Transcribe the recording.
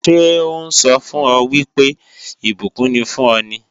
Ṣé ó sọ fún ọ wípé ìbùkún ni fún ọ ni?